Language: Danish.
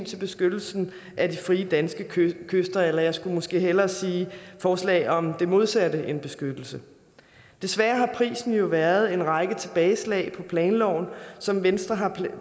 til beskyttelsen af de frie danske kyster eller jeg skulle måske hellere sige forslag om det modsatte af beskyttelse desværre har prisen jo været en række tilbageslag for planloven som venstre har